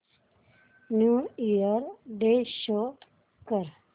new year day show कर